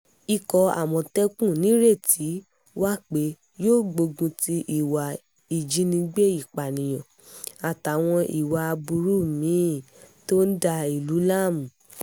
ikọ̀ àmọ̀tẹ́kùn nìrètí wà pé yóò gbógun ti ìwà ìjínigbé ìpànìyàn àtàwọn ìwà aburú mí-ín tó ń da ìlú láàmú